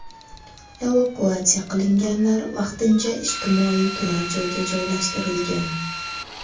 Evakuatsiya qilinganlar vaqtincha ijtimoiy turar joyga joylashtirilgan.